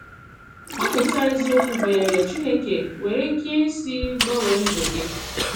Ọmụ̀tá eziokwu banyere Chineke nwere ike isi gbanwee ndụ gị?